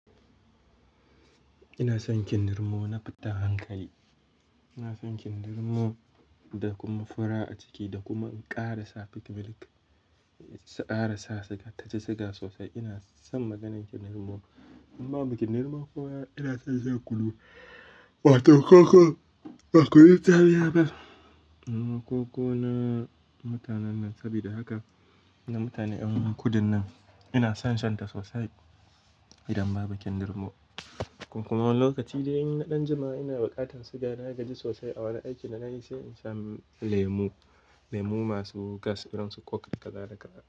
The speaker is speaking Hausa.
Ina son kindirmo, na fi ta hankali. Ina son kindirmo da kuma fura a ciki, da kuma in ƙara sa peak milk, ƙara sa siga, tashi siga sosai. Ina son maganin kindirmo. Amma bakin kindirmo kuwa ina son shi a kulu, ba ta koko, ba koko itariya ba. Koko na mutanen nan, saboda haka na mutane yawanci kudin nan. Ina son shan ta sosai idan babu kindirmo. Kuma wannan lokaci da in na ɗan jima'i, ina buƙatar siga, na gaji sosai a wani aikin da na yi, sai in sha lemu. Lemu masu gas, irin su coke kala-kala.